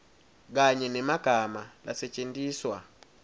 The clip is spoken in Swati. kanye nemagama lasetjentiswa